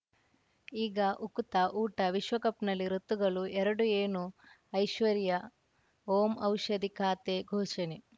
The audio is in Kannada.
ಈಗ ಉಕುತ ಊಟ ವಿಶ್ವಕಪ್‌ನಲ್ಲಿ ಋತುಗಳು ಎರಡು ಏನು ಐಶ್ವರ್ಯಾ ಓಂ ಔಷಧಿ ಖಾತೆ ಘೋಷಣೆ